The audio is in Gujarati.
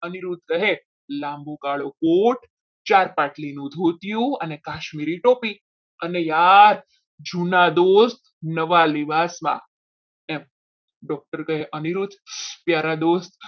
અનિરુદ્ધ કહે લાંબો કાળો કોટ ચાર પાટલીનું ધોતિયું અને કાશ્મીરી ટોપી અને યાર જુના દોસ્ત નવા લેવાજમાં એમ doctor કહે અનિરુદ્ધ પ્યારા દોસ્ત